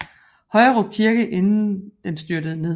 Højerup kirke inden den styrtede ned